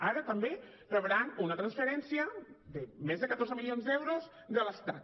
ara també rebran una transferència de més de catorze milions d’euros de l’estat